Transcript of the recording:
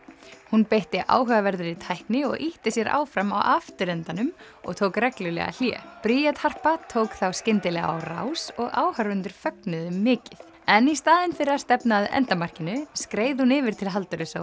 hún beitti áhugaverðri tækni og ýtti sér áfram á afturendanum og tók reglulega hlé Bríet Harpa tók þá skyndilega á rás og áhorfendur fögnuðu mikið en í staðinn fyrir að stefna að endamarkinu skreið hún yfir til Halldóru